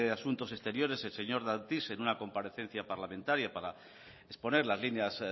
asuntos exteriores el señor dastis en una comparecencia parlamentaria para exponer las líneas